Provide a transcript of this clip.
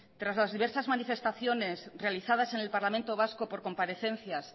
tras las diversas manifestaciones realizadas en el parlamento vasco por comparecencias